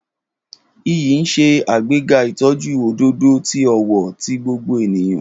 Iyi n ṣe agbega itọju ododo ati ọwọ ti gbogbo eniyan.